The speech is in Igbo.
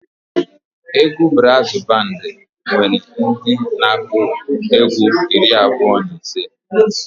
Egwu braazụ bandị nwere ndị na-akụ egwu iri abụọ na ise.